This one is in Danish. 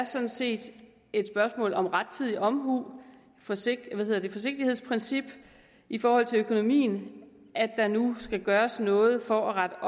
sådan set er et spørgsmål om rettidig omhu forsigtighedsprincippet i forhold til økonomien at der nu skal gøres noget for at rette